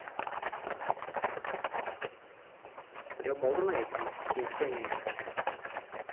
біреу болды ма екен екеу ме екен